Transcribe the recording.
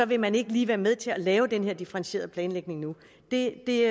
vil man ikke lige være med til at lave den her differentierede planlægning nu det